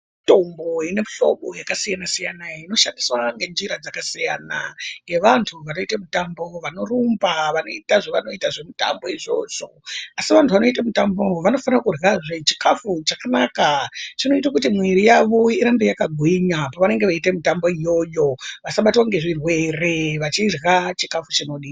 Mitombo yemihlobo yakasiyana siyana inoshandiswa ngenjira dzakasiyana ngevantu vanoite mitambo, vanorumba vanoita zvevanoita zvemitambo izvozvo. Asi vantu vanoita mutambo vanofana kuryazve chikafu chakanaka chinoita kuti mwiri yavo irambe yakagwinya pavanenhe veiita mitambo iyoyo vasabatwa nezvirwere vachirya chikafu chinodiwa.